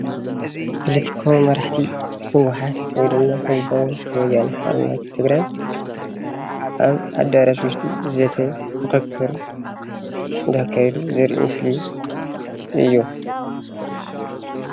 ፖለቲካዊ መራሕቲ ህወሓት ወይ ድማ ህዝባዊ ወያነ ሓርነት ትግራይ ኣብ ኣደራሽ ውሽጢ ዘተ ምክክር እንዳካየዱ ዘርኢ ምስል እዩ፡፡